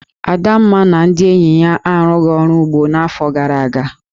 Adamma na ndị enyi ya arụghị ọrụ ugbo n'afọ gara aga.